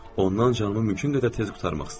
Ondan canımı mümkün qədər tez qurtarmaq istəyirdim.